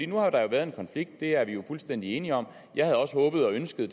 nu har der jo været en konflikt det er vi fuldstændig enige om jeg havde også håbet og ønsket